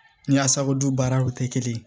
Ni y'a sababu baaraw kɛ kelen ye